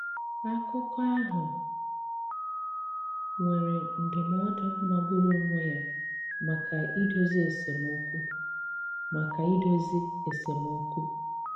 Akụ̀kọ̀ áhụ nwèrè ndụ̀mọdụ magburu onwé ya maka idozi esemọ̀kụ. maka idozi esemọ̀kụ.